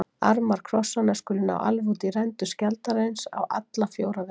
Armar krossanna skulu ná alveg út í rendur skjaldarins á alla fjóra vegu.